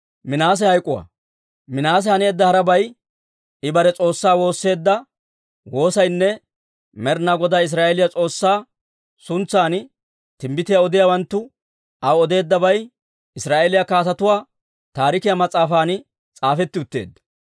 Minaase haneedda harabay, I bare S'oossaa woosseedda woosaynne Med'inaa Godaa Israa'eeliyaa S'oossaa suntsan timbbitiyaa odiyaawanttu aw odeeddabay Israa'eeliyaa Kaatetuu Taarikiyaa mas'aafan s'aafetti utteedda.